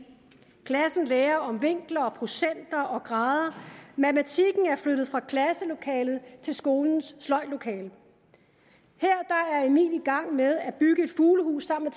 klassen lærer om vinkler og procenter og grader matematikken er flyttet fra klasselokalet til skolens sløjdlokale her er emil i gang med at bygge et fuglehus sammen